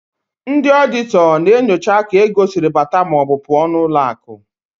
Ndị ọọdịtọ na-enyocha ka ego siri bata maọbụ pụọ n'ụlọakụ.